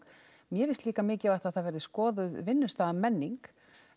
mér finnst líka mikilvægt að það verði skoðuð vinnustaðarmenning